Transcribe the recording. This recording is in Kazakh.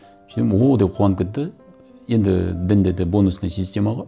о деп қуанып кетті енді дінде де бонусная система ғой